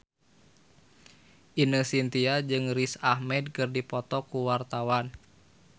Ine Shintya jeung Riz Ahmed keur dipoto ku wartawan